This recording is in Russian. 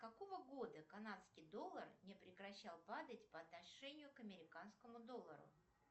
какого года канадский доллар не прекращал падать по отношению к американскому доллару